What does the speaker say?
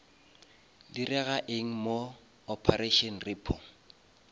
direga eng mo operation repo